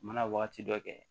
U mana wagati dɔ kɛ